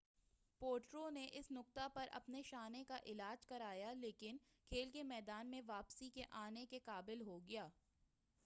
پوٹرو نے اس نقطہ پر اپنے شانہ کا علاج کرایا لیکن کھیل کے میدان میں واپس آنے کے قابل ہو گیا